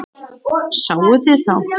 Sáuð þið þá?